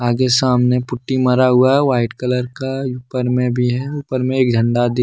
आगे सामने पुट्टी मारा हुआ है व्हाइट कलर का ऊपर में भी है ऊपर में एक झंडा दिख--